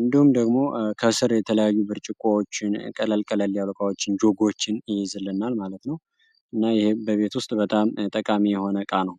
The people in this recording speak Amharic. እንዲሁም ደግሞ ከስር የተለያዩ ብርጭቆዎችን ቀለል ቀለል ያሉ እቃዎችን፣ ጆጎችን ይይዝልናል ማለት ነው። ይህም በቤት ውስጥ በጣም ጠቃሚ የሆነ እቃ ነው።